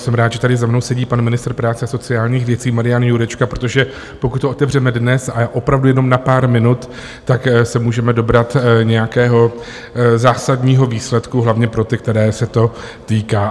Jsem rád, že tady za mnou sedí pan ministr práce a sociálních věcí Marian Jurečka, protože pokud to otevřeme dnes a opravdu jenom na pár minut, tak se můžeme dobrat nějakého zásadního výsledku hlavně pro ty, kterých se to týká.